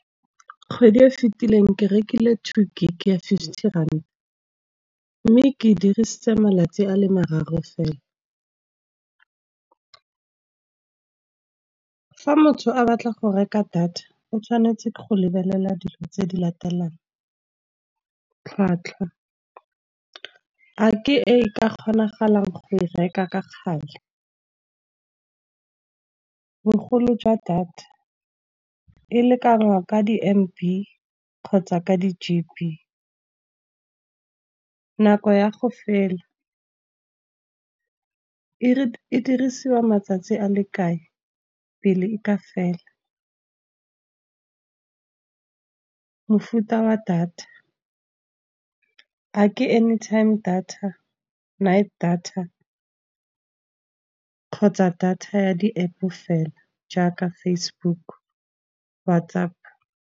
Kgwedi e fitileng ke rekile two gig ya fifty rand, mme ke dirisitse malatsi a le mararo fela. Fa motho a batla go reka data o tshwanetse go lebelela dilo tse di latelang, tlhwatlhwa a ke e ka kgonagalang go e reka ka kgale. Bogolo jwa data, e lekanywa ka di M_B kgotsa ka di G_B, nako ya go fela, e didirisiwa matsatsi a le kae pele e ka fela. Mofuta wa data a ke any time data, night data kgotsa data ya di-App fela jaaka Facebook WhatsApp.